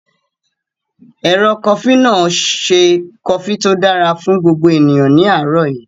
Ẹ̀rọ kofí náà ṣe kofí tó dára fún gbogbo ènìyàn ní àárọ̀ yí